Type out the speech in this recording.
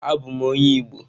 Abum onye Igbo.